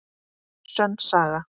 Sönn saga.